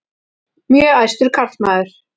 Mjög æstur karlmaður.